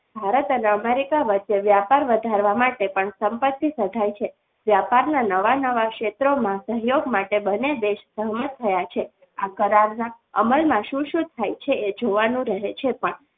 ભારત અને America વચ્ચે વ્યાપાર વધારવા માટે પણ સંપત્તિ સદાય છે વેપારના નવા નવા ક્ષેત્રોમાં સહયોગ માટે બંને દેશ સહમત થયા છે આ કરારના અમલમાં શું શું થાય છે એ જોવાનું રહે છે.